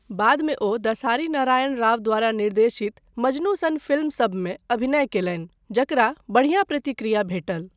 बादमे ओ दसारी नारायण राव द्वारा निर्देशित मजनू सन फिल्मसभमे अभिनय कयलनि जकरा बढ़िया प्रतिक्रिया भेटल।